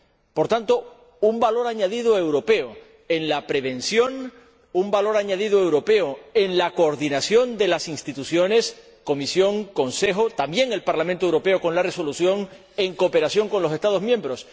Por tanto, un valor añadido europeo en la prevención y un valor añadido europeo en la coordinación de las instituciones Comisión, Consejo, también el Parlamento Europeo con la resolución, en cooperación con los Estados miembros.